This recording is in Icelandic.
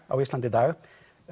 á Íslandi í dag